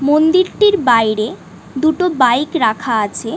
মন্দির টির বাইরে দুটো বাইক রাখা আছে ।